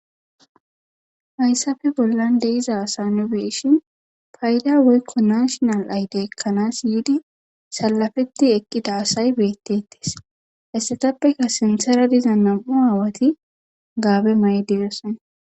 haysape bollan de7iza asa nu be7ishin fayda woykko nashinal aydiya ekkanas yiidi sallafetti eqqida asay beetetes heysatapekka sinthera diza nam7u aawati gaabe mayidi doosona.